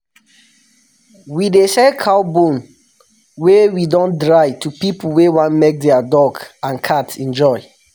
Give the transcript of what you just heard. we dey sell cow bone wey we don dry to pipu wey wan make their dog and cat enjoy